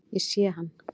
Ég sé hann.